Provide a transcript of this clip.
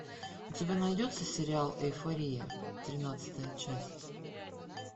у тебя найдется сериал эйфория тринадцатая часть